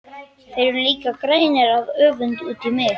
Þeir eru líka grænir af öfund út í mig.